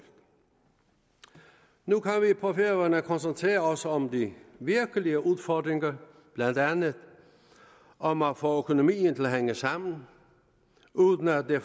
nu kan vi på færøerne koncentrere os om de virkelige udfordringer blandt andet om at få økonomien til at hænge sammen uden at det